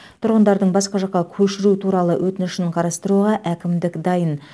тұрғындардың басқа жаққа көшіру туралы өтінішін қарастыруға әкімдік дайын